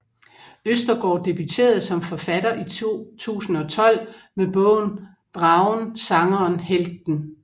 Østergaard debuterede som forfatter i 2012 med bogen Dragen Sangeren Helten